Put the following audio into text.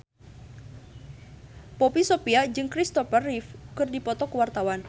Poppy Sovia jeung Christopher Reeve keur dipoto ku wartawan